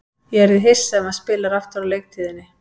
Ég yrði hissa ef hann spilar aftur á leiktíðinni.